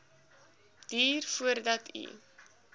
duur voordat u